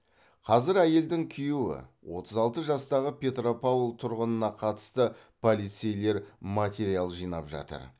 қазір әйелдің күйеуі отыз алты жастағы петропавл тұрғынына қатысты полицейлер материал жинап жатыр